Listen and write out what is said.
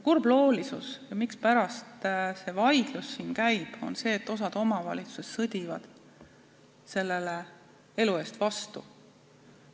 Kurbloolisus on selles ja põhjus, mispärast see vaidlus siin käib, on see, et osa omavalitsusi sõdib sellele elu eest vastu.